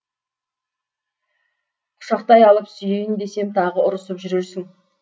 құшақтай алып сүйейін десем тағы ұрсып жүрерсің